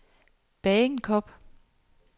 Bagenkop